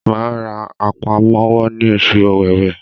Màá ra àpamọ́wọ́ ní oṣù Òwewé